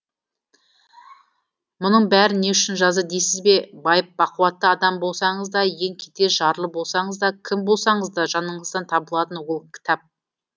мұның бәрін не үшін жазды дейсіз бе байып бақуатты адам болсаңыз да ең кедей жарлы болсаңыз да кім болсаңыз да жаныңыздан табылатын ол кітап